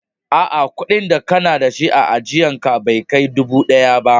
A'a, kudi da kana dashi a ajian ka Bai Kai dubu biyu ba.